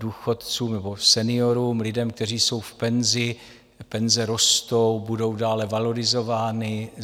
Důchodcům nebo seniorům, lidem, kteří jsou v penzi, penze rostou, budou dále valorizovány.